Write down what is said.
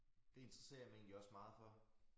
Det interesserer jeg mig egentlig også meget for